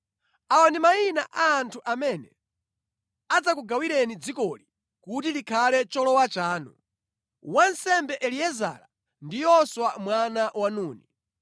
“Awa ndi mayina a anthu amene adzakugawireni dzikoli kuti likhale cholowa chanu: wansembe Eliezara ndi Yoswa mwana wa Nuni.